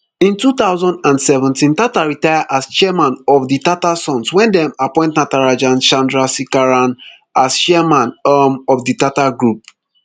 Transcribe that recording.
in two thousand and seventeen tata retire as chairman of di tata sons wen dem appoint natarajan chandrasekaran as chairman um of di tata group